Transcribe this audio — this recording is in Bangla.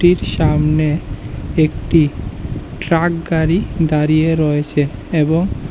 সামনে একটি ট্রাক গাড়ি দাঁড়িয়ে রয়েছে এবং--